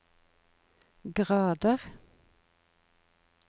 grader